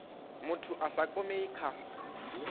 muthu a sa kwamei kha